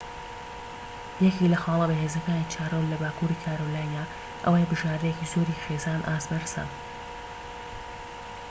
یەکێك لە خاڵە بەهێزەکانی چارلۆت لە باكووری کارۆلاینا ئەوەیە بژاردەیەکی زۆری خێزانی ئاست بەرز هەن